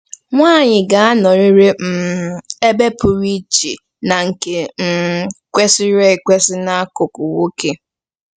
Nwanyị ga-anọrịrị um ebe pụrụ iche na nke um kwesịrị ekwesị n'akụkụ nwoke.